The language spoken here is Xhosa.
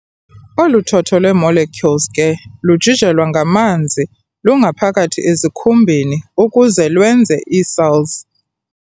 Olu thotho lwe-molecules ke lujijelwa ngamanzi lungaphakathi ezikhumbeni ukuze lwenze ii-cells.